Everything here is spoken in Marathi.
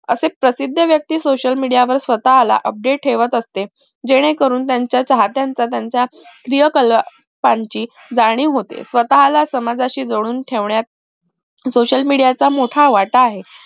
असे प्रसिद्ध व्यक्ती social media वर स्वतः update ठेवत असते जेणेकरून त्याच्या चाहतेच त्यांच्या जाणीव होते स्वतःला समाजाशी जोडून ठेवण्यात social media चा मोठा वाटा आहे